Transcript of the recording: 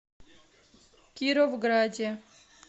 кировграде